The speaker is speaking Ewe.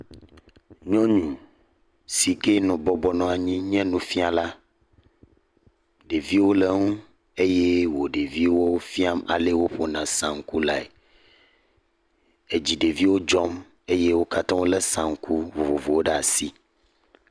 Nyɔnu si ke nɔ bɔbɔnɔ anyi nufiala. Ɖeviwo le eŋu eye wo ɖeviwo fiam alee woƒona sanku lae. Edzi ɖeviwo dzɔm eye wo katã eo le sanku vovovowo ɖe asi.